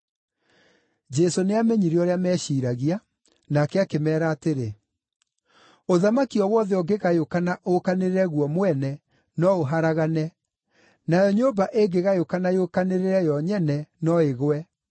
Jesũ nĩamenyire ũrĩa meciiragia, nake akĩmeera atĩrĩ: “Ũthamaki o wothe ũngĩgayũkana ũũkanĩrĩre guo mwene no ũharagane, nayo nyũmba ĩngĩgayũkana yũkanĩrĩre yo nyene no ĩgwe.